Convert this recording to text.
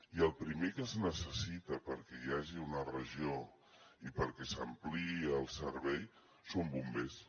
i el primer que es necessita perquè hi hagi una regió i perquè s’ampliï el servei són bombers